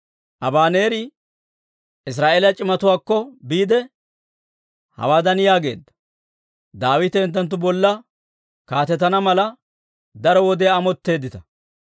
Abaneeri Israa'eeliyaa c'imatuwaakko biide, hawaadan yaageedda; «Daawite hinttenttu bolla kaatetana mala, daro wodiyaa amotteeddita;